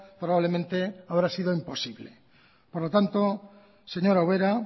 probablemente habrá sido imposible por lo tanto señora ubera